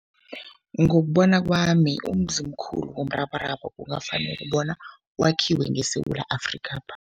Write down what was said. Ngokubona kwami, umzimkhulu womrabaraba kungafanele bona wakhiwe ngeSewula Afrikapha.